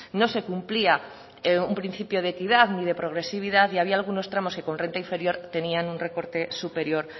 no se cumplía un principio de equidad ni de progresividad y había algunos tramos que con renta inferior tenían un recorte superior